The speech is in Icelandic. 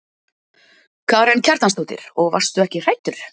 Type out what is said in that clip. Karen Kjartansdóttir: Og varstu ekki hræddur?